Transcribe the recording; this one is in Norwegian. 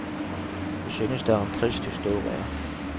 Vi synes det er en trist historie.